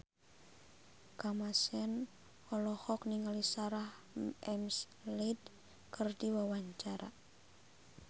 Kamasean olohok ningali Sarah McLeod keur diwawancara